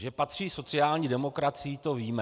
Že patří sociální demokracii, to víme.